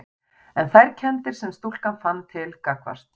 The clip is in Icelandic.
En þær kenndir sem stúlkan fann til gagnvart